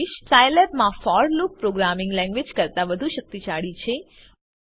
સાઈલેબમાં for loop programming language કરતા વધુ શક્તિશાળી છે